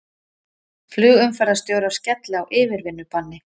Flugumferðarstjórar skella á yfirvinnubanni